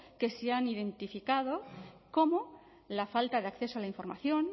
que se han identificado como la falta de acceso a la información